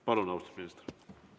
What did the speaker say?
Palun, austatud minister!